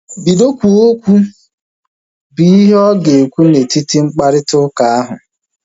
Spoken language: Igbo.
Bido kwuwe okwu! Bụ ihe ọ ga ekwu na etiti mkparịta ụka ahu